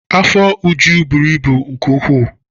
Afọ Uju buru ibu nke ukwuu.